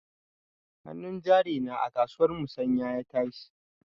Hanun jari na a kasuwar musanya ya tashi.